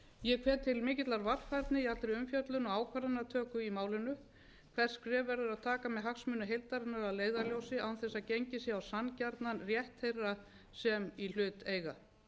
ég hvet til mikillar varfærni í allri umfjöllun og ákvarðanatöku í málinu hvert skref verður að taka með hagsmuni heildarinnar að leiðarljósi án þess að gengið sé á sanngjarnan rétt þeirra sem í hlut eiga